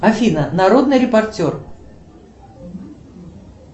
афина народный репортер